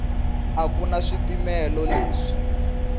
a ku na swipimelo leswi